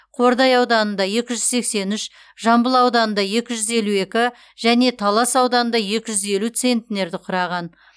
қордай ауданында екі жүз сексен үш жамбыл ауданында екі жүз елу екі және талас ауданында екі жүз елу центнерді құраған